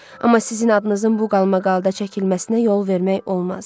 Amma sizin adınızın bu qalmaqalda çəkilməsinə yol vermək olmaz.